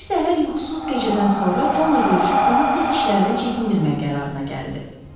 Bir səhər yuxusuz gecədən sonra Conla görüşüb onu pis işlərdən çəkindirmək qərarına gəldi.